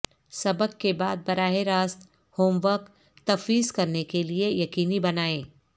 سبق کے بعد براہ راست ہوم ورک تفویض کرنے کے لئے یقینی بنائیں